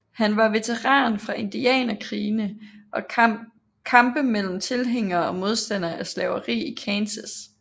Han var veteran fra indianerkrigene og kampe mellem tilhængere og modstandere af slaveri i Kansas